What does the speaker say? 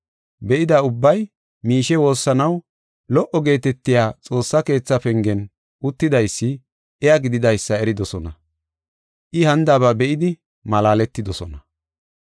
Be7ida ubbay miishe woossanaw lo77o geetetiya xoossa keetha pengen uttidaysi, iya gididaysa eridosona; I hanidaba be7idi malaaletidosona.